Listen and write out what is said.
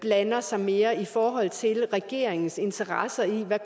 blander sig mere i forhold til regeringens interesse i hvad